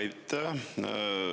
Aitäh!